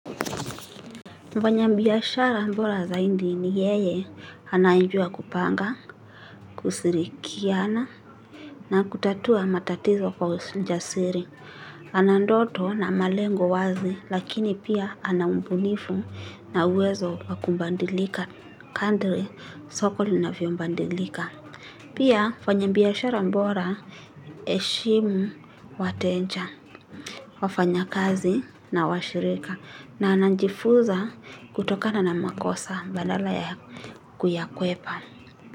Mfanya biashara bora zaidi ni yeye anayejua kupanga, kusirikiana na kutatua matatizo kwa ujasiri. Ana ndoto na malengo wazi lakini pia ana ubunifu na uwezo wa kubandilika kadri soko linavyobadilika. Pia mfanya biashara bora heshimu wateja wafanyakazi na washirika na anajifunza kutokana na makosa badala ya kuyakwepa.